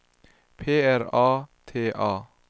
P R A T A